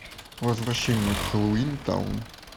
возвращение в хеллоуинтаун